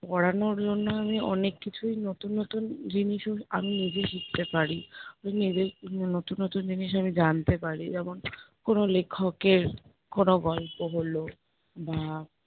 পড়ানোর জন্য আমি অনেক কিছুই নতুন নতুন জিনিসও আমি নিজে শিখতে পারি, আমি নিজেই নতুন নতুন জিনিস আমি জানতে পারি। যেমন কোনো লেখকের কোনো গল্প হলো বা